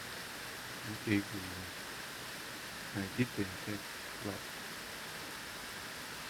окей гугл найди тнт клаб